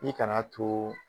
I kan'a to